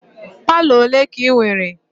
Palọ ole ka ị nwere?